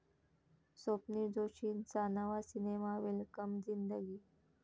स्वप्नील जोशींचा नवा cinema 'welcome Zindagi '